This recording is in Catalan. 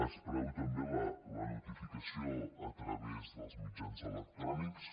es preveu també la notificació a través dels mitjans electrònics